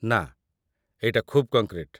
ନା, ଏଇଟା ଖୁବ୍ କଙ୍କ୍ରିଟ୍ ।